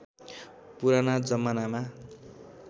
पुराना जमानामा